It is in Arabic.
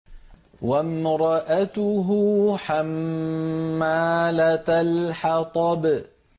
وَامْرَأَتُهُ حَمَّالَةَ الْحَطَبِ